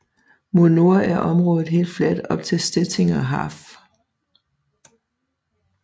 Mod nord er området helt fladt op til Stettiner Haff